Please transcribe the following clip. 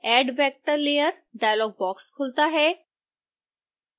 add vector layer dialogue box खुलता है